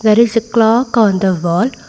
there is a clock on the wall.